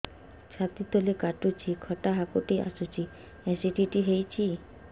ଛାତି ତଳେ କାଟୁଚି ଖଟା ହାକୁଟି ଆସୁଚି ଏସିଡିଟି ହେଇଚି